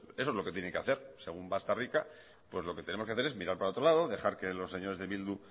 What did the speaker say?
eso es lo que tiene que hacer según bastarrica pues lo que tenemos que hacer es mirar para otro lado dejar que los señores de bildu